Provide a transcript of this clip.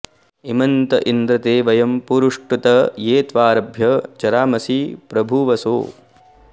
इमे त इन्द्र ते वयं पुरुष्टुत ये त्वारभ्य चरामसि प्रभूवसो